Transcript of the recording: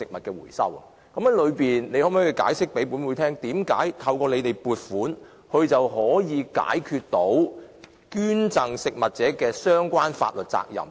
局長可否向本會解釋，為甚麼透過政府撥款，捐贈機構便可以解決食物捐贈的相關法律責任？